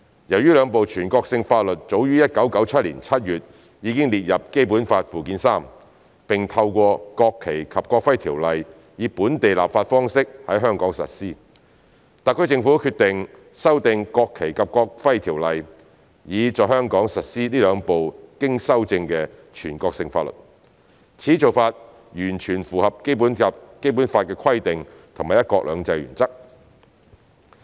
由於兩部全國性法律早於1997年7月已列入《基本法》附件三，並透過《國旗及國徽條例》以本地立法方式在香港實施，特區政府決定修訂《條例》，以在香港實施這兩部經修正的全國性法律，此做法完全符合《基本法》的規定及"一國兩制"原則。